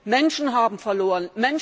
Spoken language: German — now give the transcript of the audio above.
Doch, Menschen haben verloren!